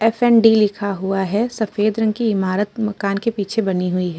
AFD. लिखा हुआ है। सफेद रंग की इमारत मकान के पीछे बनी हुई है।